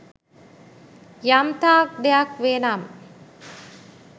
යම්තාක් දෙයක් වේ නම්